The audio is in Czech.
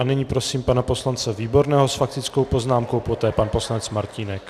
A nyní prosím pana poslance Výborného s faktickou poznámkou, poté pan poslanec Martínek.